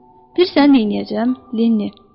Bilirsən neyniyəcəm Lenni?